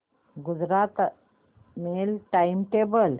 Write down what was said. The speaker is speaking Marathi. Gujarat mail time table